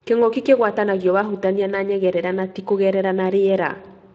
Kĩngũki kĩngwatanagio wahutania na nyegerera na tĩ kũngerera na riera.